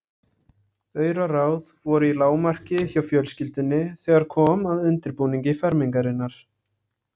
Auraráð voru í lágmarki hjá fjölskyldunni þegar kom að undirbúningi fermingarinnar.